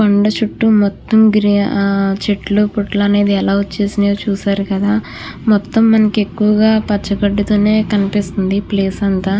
కొండ చుట్టూ మొత్తం గ్రీ ఆహ్ చెట్లు పుట్టలు అనేవి ఎలా వచేసినియ్యో చూశారు కదా మొత్తం మనకి ఎక్కువుగా పచ్చ గడ్డితోనె కనిపిస్తుంది ప్లేస్ అంతా.